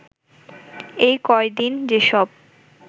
এই কয়দিন যেসব